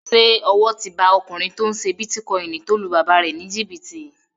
Ṣé owó ti ba ọkùnrin tó n ṣe bítíkọ́ìnì tó lu bàbá rẹ̀ ní jìbìtì?